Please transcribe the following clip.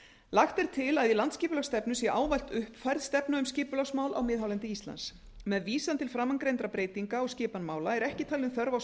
lagt er til að í landsskipulagsstefnu sé ávallt uppfærð stefna um skipulagsmál á miðhálendi íslands með vísan til framangreindra breytinga á skipan mála er ekki talin þörf á